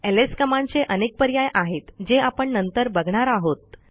LS कमांडचे अनेक पर्याय आहेत जे आपण नंतर बघणार आहोत